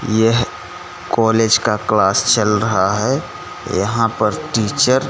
यह कॉलेज का क्लास चल रहा है यहां पर टीचर --